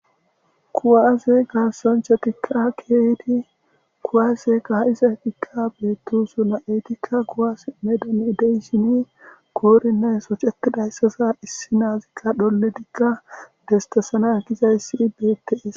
kuwaaze gaasonchatikka keeydi kuwaaze kaha7izadikka beettu su na7etikka guwaas medon ideyshini koorinneysocetidayssaza issi naazikka dholletikka destesana gizayssi bets